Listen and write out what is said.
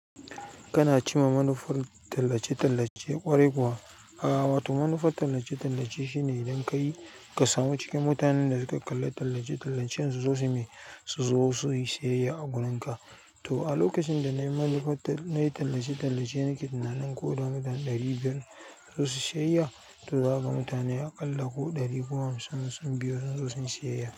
Kana cima manufar tallace-tallace ƙwarai kuwa? A wato manufar tallace-tallace shine idan ka yi ka samu cikin mutanen da suka kalla tallace-tallacen suzo su mi su zo sui sayayya gurin ka. To a lokacin da na yi manufar, na yi tallace-tallace, nake tunanin ko danuban ɗari biyar suzo sui sayayya. To za a ga mutane a ƙalla ko ɗari ko hamsin sun biyo sun zo sun sayayya.